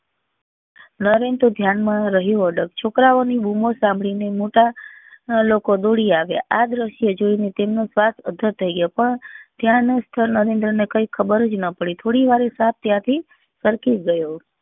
નરેન તો ધ્યાન માં રહ્યો અડગ છોકરાઓ ની બુમો સાંભળી ને મોટા ના લોકો દોડી આવ્યા આ દ્રશ્યો જોઈ ને તેમના શ્વાસ અધર થઇ ગયો પણ ત્યાં નો સ્તર નરેન્દ્ર ને કઈ ખબર જ ના પડી થોડી વારે સાપ ત્યાંથી સરકી ગયો